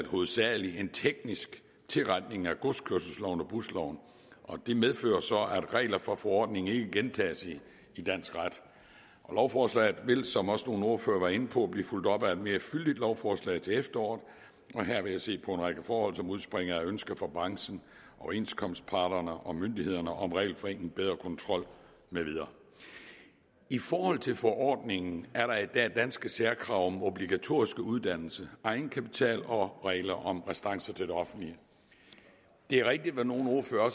hovedsagelig en teknisk tilretning af godskørselsloven og busloven det medfører så at regler fra forordningen ikke gentages i dansk ret lovforslaget vil som også nogle ordførere var inde på blive fulgt op af et mere fyldigt lovforslag til efteråret og her vil jeg se på en række forhold som udspringer af ønsker fra branchen overenskomstparterne og myndighederne om regelforenkling bedre kontrol med videre i forhold til forordningen er der i dag danske særkrav om obligatorisk uddannelse egenkapital og regler om restancer til det offentlige det er rigtigt hvad nogle ordførere